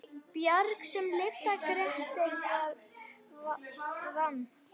Bjarg sem lyfta Grettir vann.